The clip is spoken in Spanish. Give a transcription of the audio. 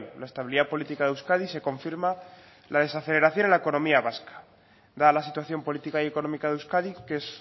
la estabilidad política de euskadi y se confirma la desaceleración en la economía vasca dada la situación política y económica de euskadi qué es